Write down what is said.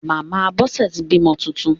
Màmá Bọ́sẹ̀ ti bímọ titun.